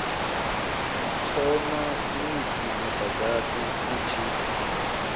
thoma musi mudagasi u tshi